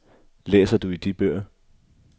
Læser du i de bøger?